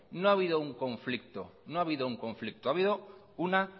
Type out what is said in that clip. no ha habido un conflicto ha habido una